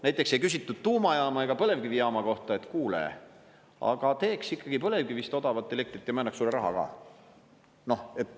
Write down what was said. Näiteks ei küsitud tuumajaama ega põlevkivijaama kohta, et kuule, aga teeks ikkagi põlevkivist odavat elektrit ja me annaks sulle rahaga.